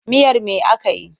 Miyar me aka yi?